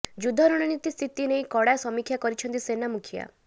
ଯୁଦ୍ଧ ରଣନୀତି ସ୍ଥିତି ନେଇ କଡ଼ା ସମିକ୍ଷା କରିଛନ୍ତି ସେନା ମୁଖିଆ